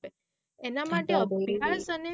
એના માટે શીખાયત તને